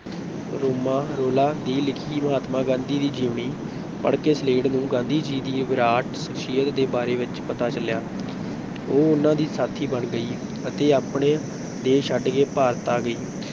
ਰੋਮਾਂ Rolland ਦੀ ਲਿਖੀ ਮਹਾਤਮਾ ਗਾਂਧੀ ਦੀ ਜੀਵਨੀ ਪੜ੍ਹਕੇ ਸਲੇਡ ਨੂੰ ਗਾਂਧੀ ਜੀ ਦੀ ਵਿਰਾਟ ਸ਼ਖਸੀਅਤ ਦੇ ਬਾਰੇ ਵਿੱਚ ਪਤਾ ਚੱਲਿਆ ਉਹ ਉਹਨਾਂ ਦੀ ਸਾਥੀ ਬਣ ਗਈ ਅਤੇ ਆਪਣਾ ਦੇਸ਼ ਛੱਡਕੇ ਭਾਰਤ ਆ ਗਈ।